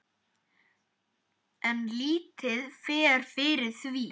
En lítið fer fyrir því.